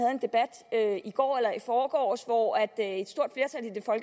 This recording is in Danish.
jeg i går eller i forgårs hvor et